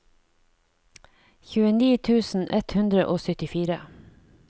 tjueni tusen ett hundre og syttifire